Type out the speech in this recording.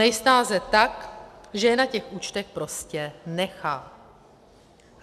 Nejsnáze tak, že je na těch účtech prostě nechá!